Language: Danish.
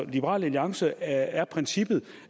liberal alliance er princippet